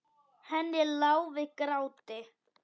Henni lá við gráti.